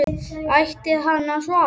Ætti hann að svara?